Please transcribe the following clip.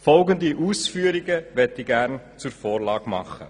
Ich möchte folgende Ausführungen zur Vorlage machen: